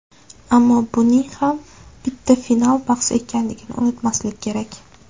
Ammo buning ham bitta final bahsi ekanligini unutmaslik kerak.